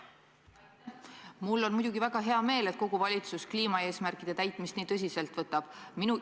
Mul on muidugi väga hea meel, et kogu valitsus kliimaeesmärkide täitmist nii tõsiselt võtab.